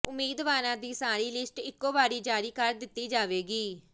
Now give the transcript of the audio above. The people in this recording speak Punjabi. ਉਮੀਦਵਾਰਾਂ ਦੀ ਸਾਰੀ ਲਿਸਟ ਇਕੋ ਵਾਰੀ ਜਾਰੀ ਕਰ ਦਿੱਤੀ ਜਾਵੇਗੀ